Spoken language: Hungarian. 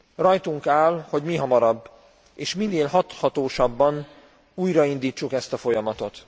Rajtunk áll, hogy mihamarabb és minél hathatósabban újraindítsuk ezt a folyamatot.